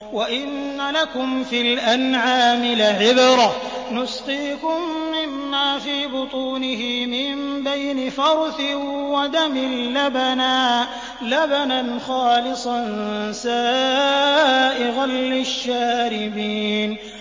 وَإِنَّ لَكُمْ فِي الْأَنْعَامِ لَعِبْرَةً ۖ نُّسْقِيكُم مِّمَّا فِي بُطُونِهِ مِن بَيْنِ فَرْثٍ وَدَمٍ لَّبَنًا خَالِصًا سَائِغًا لِّلشَّارِبِينَ